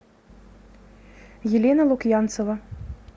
елена лукьянцева